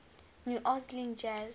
new orleans jazz